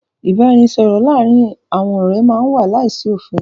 Ìbáraẹnisọ̀rọ̀ láàárín àwọn ọ̀rẹ́ má n wà láìsí òfin.